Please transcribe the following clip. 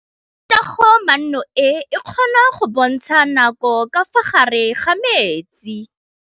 Toga-maanô e, e kgona go bontsha nakô ka fa gare ga metsi.